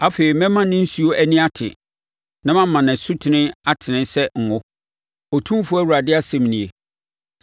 Afei mɛma ne nsuo ani ate na mama ne asutene atene sɛ ngo, Otumfoɔ Awurade asɛm nie.